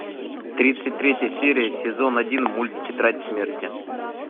тридцать третья серия сезон один мульт тетрадь смерти